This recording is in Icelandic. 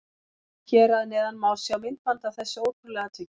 Hér að neðan má sjá myndband af þessu ótrúlega atviki.